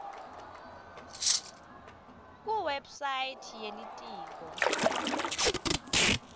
kuwebsite ye litiko